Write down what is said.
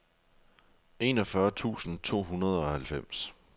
enogfyrre tusind to hundrede og halvfems